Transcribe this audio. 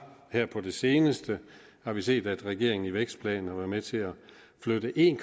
her på det seneste har vi set at regeringen i vækstplanen har været med til at flytte en